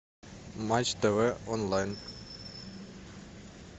матч тв онлайн